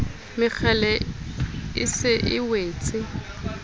mekgele e se e wetse